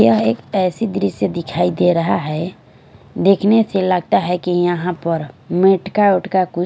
यह एक ऐसी दृश्य दिखाई दे रहा है देखने से लगता है कि यहां पर मेटका वेटका कु--